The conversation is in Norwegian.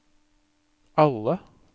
alle